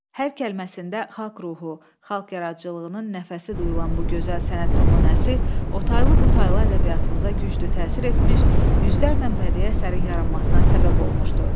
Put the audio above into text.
Hər kəlməsində xalq ruhu, xalq yaradıcılığının nəfəsi duyulan bu gözəl sənət nümunəsi otaylı, butaylı ədəbiyyatımıza güclü təsir etmiş, yüzlərlə bədii əsərin yaranmasına səbəb olmuşdu.